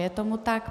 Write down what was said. Je tomu tak.